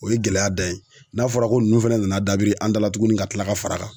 O ye gɛlɛya da ye, n'a fɔra ko nunnu fɛnɛ nana dabiri an da la tugunni ka kila ka far'a kan.